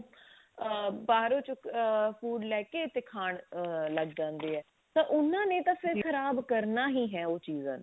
ah ਬਾਹਰੋਂ ਚੁੱਕ ah food ਲਈ ਕੇ ਤੇ ah ਖਾਣ ਲੱਗ ਜਾਂਦੇ ਆ ਤਾਂ ਉਹਨਾਂ ਨੇ ਤਾਂ ਫ਼ੇਰ ਖਰਾਬ ਕਰਨਾ ਹੀ ਹੈ ਉਹ ਚੀਜ਼ਾਂ ਨੇ